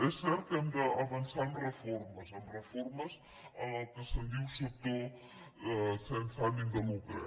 és cert que hem d’avançar en reformes en reformes en el que se’n diu sector sense ànim de lucre